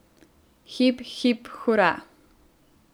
Hip, hip, hura.